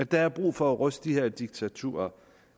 der er brug for at ryste de her diktaturer